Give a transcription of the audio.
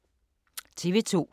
TV 2